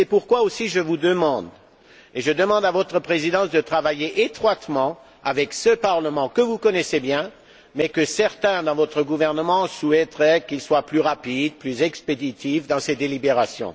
C'est pourquoi aussi je vous demande et je demande à votre Présidence de travailler étroitement avec ce Parlement que vous connaissez bien mais dont certains, dans votre gouvernement, souhaiteraient qu'il soit plus rapide, plus expéditif dans ses délibérations.